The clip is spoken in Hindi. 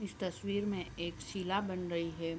इस तस्वीर में एक शीला बन रही है।